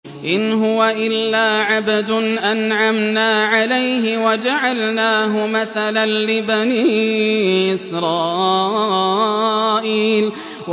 إِنْ هُوَ إِلَّا عَبْدٌ أَنْعَمْنَا عَلَيْهِ وَجَعَلْنَاهُ مَثَلًا لِّبَنِي إِسْرَائِيلَ